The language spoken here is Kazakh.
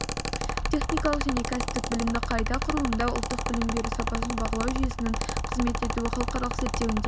техникалық және кәсіптік білімді қайта құрылымдау ұлттық білім беру сапасын бағалау жүйесінің қызмет етуі халықаралық зерттеуіндегі